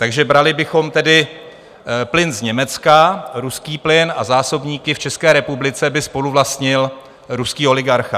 Takže brali bychom tedy plyn z Německa, ruský plyn, a zásobníky v České republice by spoluvlastnil ruský oligarcha.